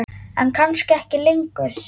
En kannski ekki lengur.